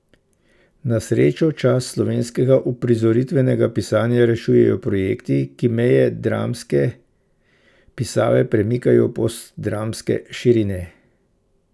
Na srečo čast slovenskega uprizoritvenega pisanja rešujejo projekti, ki meje dramske pisave premikajo v postdramske širine.